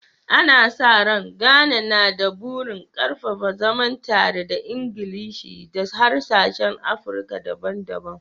Ana sa rai, Ghana na da burin ƙarfafa zaman tare da Ingilishi da harsunan Afirka daban-daban